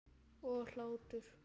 Og hlátur.